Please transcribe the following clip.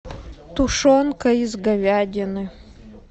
тушенка из говядины